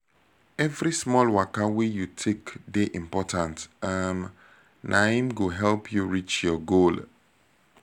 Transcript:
every small waka wey you take dey important um na im go help you reach your goal